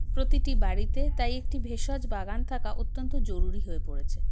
প্রতিটি বাড়িতে তাই একটি ভেষজ বাগান থাকা অত্যন্ত জরুরি হয়ে পরেছে